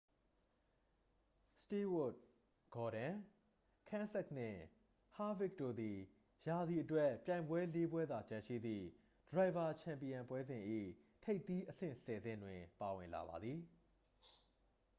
စတူးဝပ် ဂေါ်ဒွန် ကန်းစက်သ် နှင့် ဟားဗစ်ခ် တို့သည် ရာသီအတွက် ပြိုင်ပွဲလေး ပွဲသာကျန်ရှိသည့် ဒရိုင်ဗာ ချန်ပီယံပွဲစဉ် ၏ ထိပ်သီးအဆင့် ဆယ် ဆင့်တွင် ပါဝင်လာပါသည်